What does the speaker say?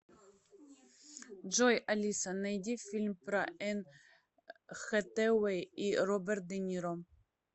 джой алиса найди фильм про энн хэтэуэй и роберт де ниро